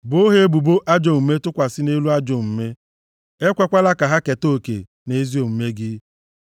Boo ha ebubo ajọ omume tụkwasị nʼelu ajọ omume, ekwekwala ka ha keta oke na ezi omume + 69:27 Maọbụ, nzọpụta gị.